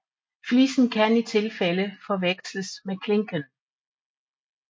Flisen kan i tilfælde forveksles med klinken